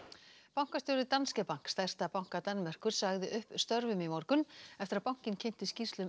bankastjóri Danske Bank stærsta banka Danmerkur sagði upp störfum í morgun eftir að bankinn kynnti skýrslu um